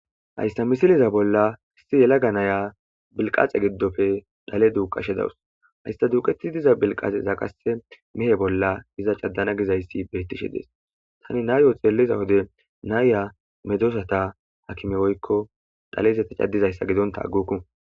Hayssa misiliza bolla hissi yelaga naya bilqaxe giddofe dhale duuqashe dawus hayssa duuqeti diza bilqaxe za qase mihe bolla iza caddana gizayssi beettishe dees tani nayo xeelliza wode nayya medzosata hakime woykko dhalezeta caddizayssa gidonta aguku.